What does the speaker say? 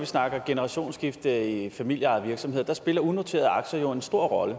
snakker generationsskifte i familieejede virksomheder spiller unoterede aktier jo en stor rolle